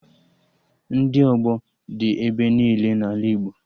Ndị ọgbọ dị ebe niile n'ala Igbo